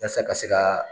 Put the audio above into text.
Yasa ka se ka